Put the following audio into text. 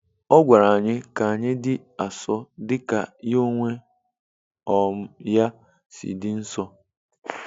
Ọ gwara anyị kanyi di asọ dika ya onwe um ya si dị nsọ"